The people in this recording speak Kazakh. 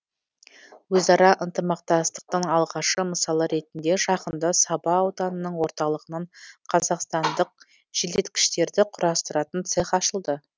өзара ынтымақтастықтың алғашы мысалы ретінде жақында саба ауданының орталығынан қазақстандық желдеткіштерді құрастыратын цех ашылды